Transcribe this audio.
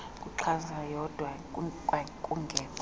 nokuxhamla yodwa kwakungekho